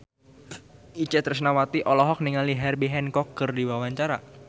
Itje Tresnawati olohok ningali Herbie Hancock keur diwawancara